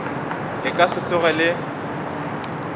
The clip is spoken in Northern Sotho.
le ka se tsoge le